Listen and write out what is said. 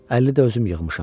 Əlli də özüm yığmışam.